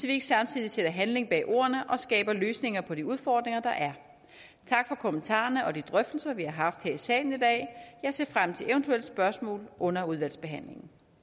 ikke samtidig sætter handling bag ordene og skaber løsninger på de udfordringer der er tak for kommentarerne og de drøftelser vi har haft her i salen i dag jeg ser frem til eventuelle spørgsmål under udvalgsbehandlingen